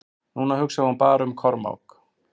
Núna hugsaði hún bara um Kormák.